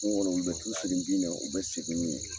bɛ tu siri bi na u bɛ segin min ye.